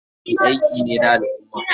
Ladabi ayyuka ne na al'umma.